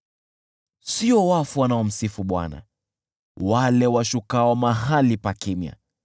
Sio wafu wanaomsifu Bwana , wale washukao mahali pa kimya,